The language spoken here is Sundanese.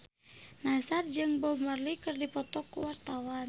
Nassar jeung Bob Marley keur dipoto ku wartawan